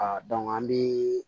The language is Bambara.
Aa dɔn an bi